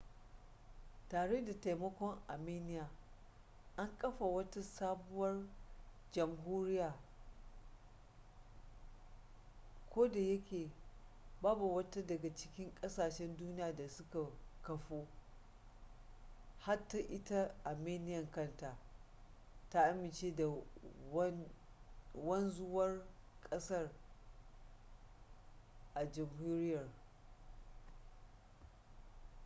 tare da taimakon armenia an kafa wata sabuwar jamhuriya. ko da yake babu wata daga cikin kasashen duniya da suka kafu - hatta ita armenian kanta - ta amince da wanzuwar kasar/jamhuriyar